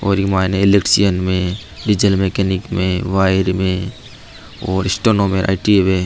और इ माइने इलेक्ट्रीशियन में डीजल मैकेनिक में वायर में और स्टेनो में आई.टी.आई. हुवे।